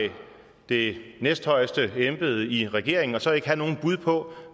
det næsthøjeste embede i regeringen og så ikke have nogen bud på